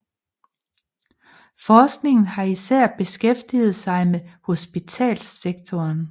Forskningen har især beskæftiget sig med hospitalssektoren